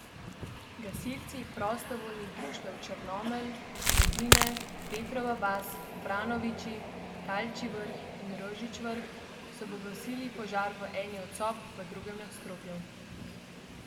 Gasilci prostovoljnih društev Črnomelj, Rodine, Petrova vas, Vranoviči, Talčji vrh in Rožič vrh so pogasili požar v eni od sob v drugem nadstropju.